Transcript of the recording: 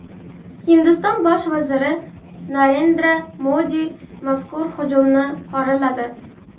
Hindiston bosh vaziri Narendra Modi mazkur hujumni qoraladi.